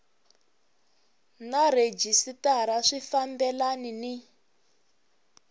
na rhejisitara swi fambelani ni